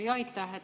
Aitäh!